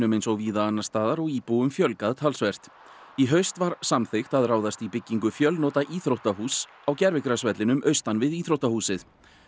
eins og víða annars staðar og íbúum fjölgað töluvert í haust var samþykkt að ráðast í byggingu fjölnota íþróttahúss á gervigrasvellinum austan við íþróttahúsið